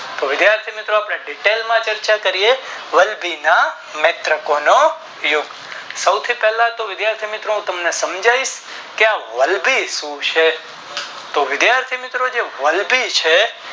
તો વિધાથી મિત્રો આપણે Detail માં ચર્ચા કરીયે વલભી માં નેત્રોકો નો યુદ્ધ સૌથી પહેલાતો વિધાથી મિત્રો તમે સમજાવી દાવ કે આ વલભી શું છે